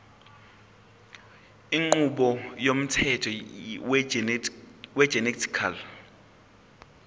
inqubo yomthetho wegenetically